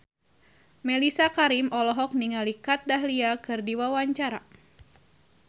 Mellisa Karim olohok ningali Kat Dahlia keur diwawancara